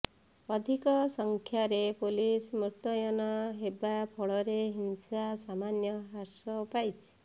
ଅଧିକ ସଂଖ୍ୟାରେ ପୁଲିସ ମୁତୟନ ହେବା ଫଳରେ ହିଂସା ସାମାନ୍ୟ ହ୍ରାସ ପାଇଛି